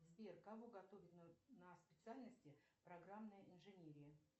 сбер кого готовят на специальности программная инженерия